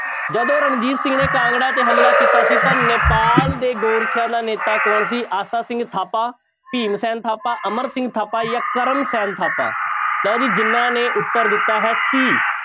ਜਦੋਂ ਰਣਜੀਤ ਸਿੰਘ ਨੇ ਕਾਂਗੜਾ ਤੇ ਹਮਲਾ ਕੀਤਾ ਸੀ ਤਾਂ ਨੇਪਾਲ ਦੇ ਗੋਰਖਿਆਂ ਦਾ ਨੇਤਾ ਕੌਣ ਸੀ ਆਸਾ ਸਿੰਘ ਥਾਪਾ, ਭੀਮ ਸੈਨ ਥਾਪਾ, ਅਮਰ ਸਿੰਘ ਥਾਪਾ ਜਾਂ ਕਰਮ ਸੈਨ ਥਾਪਾ, ਲਓ ਜੀ ਜਿਹਨਾਂ ਨੇ ਉੱਤਰ ਦਿੱਤਾ ਹੈ c